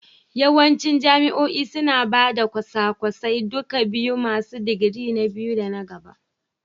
Yawancin jami'o'i suna ba da kwasa-kwasan duka biyu masu digiri na biyu da na gaba